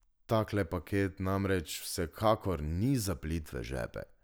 Takle paket namreč vsekakor ni za plitve žepe.